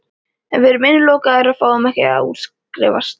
En við erum innilokaðir og fáum ekki að útskrifast.